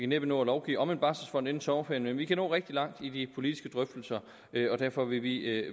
næppe nå at lovgive om en barselfond inden sommerferien men vi kan nå rigtig langt i de politiske drøftelser og derfor vil vi